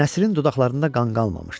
Nəsrinin dodağında qan qalmamışdı.